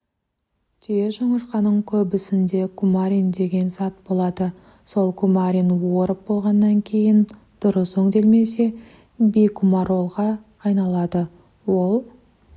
түйежоңышқаның көбісінде кумарин деген зат болады сол кумарин орып болғаннан кейін дұрыс өңделмесе бикумаролға айналады ол